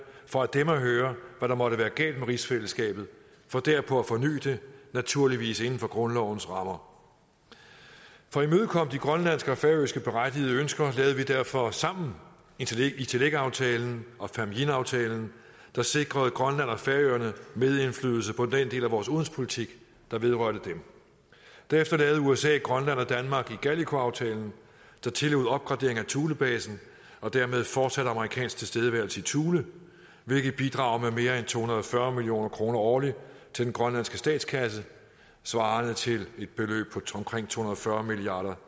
for af dem at høre hvad der måtte være galt med rigsfællesskabet for derpå at forny det naturligvis inden for grundlovens rammer for at imødekomme de grønlandske og færøske berettigede ønsker lavede vi derfor sammen itelleqaftalen og famjinaftalen der sikrede grønland og færøerne medindflydelse på den del af vores udenrigspolitik der vedrørte dem derefter lavede usa grønland og danmark igalikuaftalen der tillod opgradering af thulebasen og dermed fortsat amerikansk tilstedeværelse i thule hvilket bidrager med mere end to hundrede og fyrre million kroner årligt til den grønlandske statskasse svarende til et beløb på to hundrede og fyrre milliard